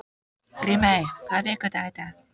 Grímey, hvaða vikudagur er í dag?